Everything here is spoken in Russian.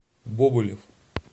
бобылев